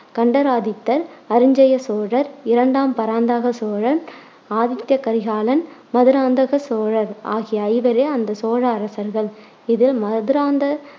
கண்டராதித்தர், அரிஞ்சய சோழர், இரண்டாம் பராந்தக சோழன், ஆதித்ய கரிகாலன், மதுராந்தக சோழர் ஆகிய ஐவரே அந்த சோழ அரசர்கள். இதில் மதுராந்த